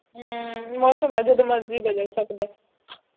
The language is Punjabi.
ਹੂ ਮੌਸਮ ਹੈ ਜਦ ਮਰਜ਼ੀ ਬਦਲ ਸਕਦਾ ਹੈ